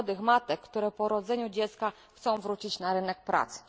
młodych matek, które po urodzeniu dziecka chcą wrócić na rynek pracy.